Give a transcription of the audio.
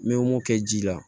N bɛ mopki ji la